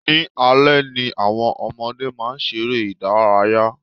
Ní alẹ́ ni àwọn ọmọdé máa ṣeré ìdárayá.